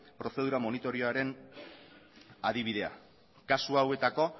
prozedura moritorioaren adibidea kasu hauetako